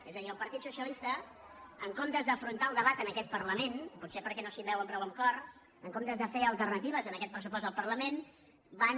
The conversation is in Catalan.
és a dir el partit socialista en comptes d’afrontar el debat en aquest parlament potser perquè no s’hi veuen prou amb cor en comptes de fer alternatives a aquest pressupost del parlament van